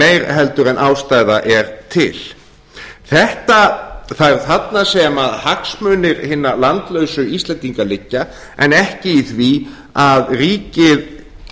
meira heldur en ástæða er til það er þarna sem hagsmunir hinna landlausu íslendinga liggja en ekki í því að ríkið